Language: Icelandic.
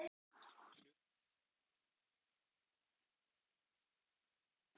Hlutlaus Uppáhaldsdrykkur: Appelsín Uppáhalds vefsíða?